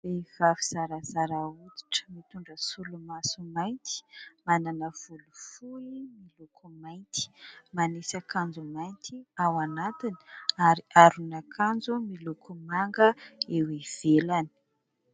Vehivavy zarazara fihodirana, mitondra solomaso mainty, manana volo fohy miloko mainty manisy kanjo mainty ao anatiny ary aron'akanjo miloko manga eo ivelany.